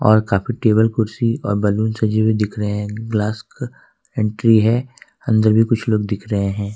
Table कुर्सी और balloon सजी हुई दिख रहे हैं ग्लास एंट्री है अंदर भी कुछ लोग दिख रहे हैं।